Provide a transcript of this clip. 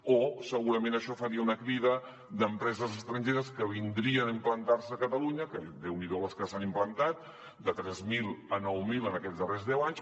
o segurament això faria una crida d’empreses estrangeres que vindrien a implantar se a catalunya que déu n’hi do les que s’hi han implantat de tres mil a nou mil en aquests darrers deu anys